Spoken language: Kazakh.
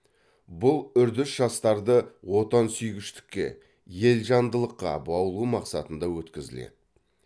бұл үрдіс жастарды отансүйгіштікке елжандылыққа баулу мақсатында өткізіледі